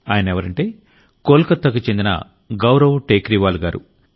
ఆయనెవరంటే కోలకతాకి చందిన సౌరవ్ టేక్రీవాల్ గారు